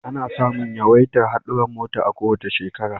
Ana samun yawaitar hadurran mota a kowace shekara